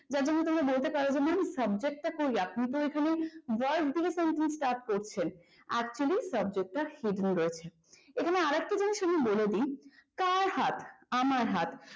যেমন তোমরা বলতে পারো যে ম্যাম subject তা কই word দিয়ে sentence start করছেন actually subject টা hidden রয়েছে। এখানে আরেকটা জিনিস আমি বলে দেই কার হাত আমার হাত